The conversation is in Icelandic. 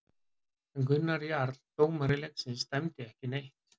En Gunnar Jarl dómari leiksins dæmdi ekki neitt.